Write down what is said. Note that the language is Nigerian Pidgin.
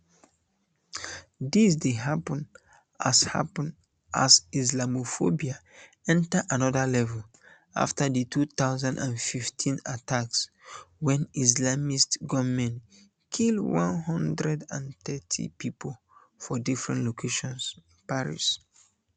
dis dey happun as happun as islamophobia um enta anoda level afta di two thousand and fifteen um attacks wen islamist gunmen kill one hundred and thirty pipo for different locations paris